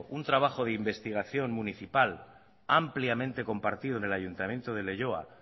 un trabajo de investigación municipal ampliamente compartido en el ayuntamiento de leioa